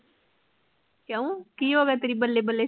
ਕਿਉਂ ਕਿ ਹੋਗਿਆ ਤੇਰੀ ਬੱਲੇ ਬੱਲੇ